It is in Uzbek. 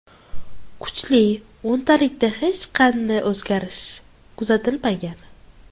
Kuchli o‘ntalikda hech qanday o‘zgarish kuzatilmagan.